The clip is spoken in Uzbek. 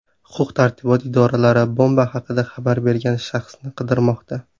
Huquq-tartibot idoralari bomba haqida xabar bergan shaxsni qidirmoqda.